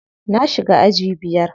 Na shiga aji biyar.